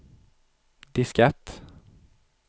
diskett